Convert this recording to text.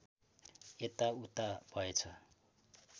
यता उता भएछ